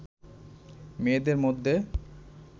মেয়েদের মধ্যে